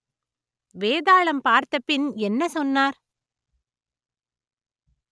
வேதாளம் பார்த்த பின் என்ன சொன்னார்